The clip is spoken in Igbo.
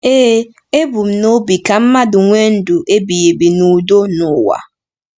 Ee, e bu n’obi ka mmadụ nwee ndụ ebighị ebi n’udo n’ụwa.